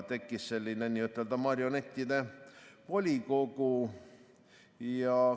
Tekkis selline n‑ö marionettide volikogu.